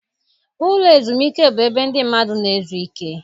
Ụlọ ezumiike bụ ebe ndị mmadụ na-ezu ike.